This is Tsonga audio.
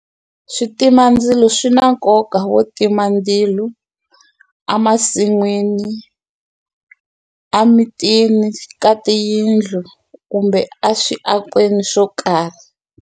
Switimandzilo swi na nkoka wo tima ndzilu a masin'wini, a mitini ka tiyindlo kumbe aswiakweni swo karhi.